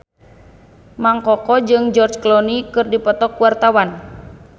Mang Koko jeung George Clooney keur dipoto ku wartawan